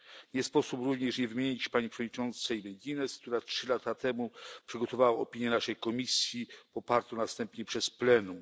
Nie sposób również nie wymienić pani przewodniczącej McGuinness, która trzy lata temu przygotowała opinię dla naszej komisji popartą następnie przez plenum.